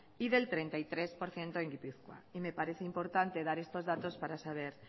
y del treinta y tres por ciento en gipuzkoa y me parece importante dar estos datos para saber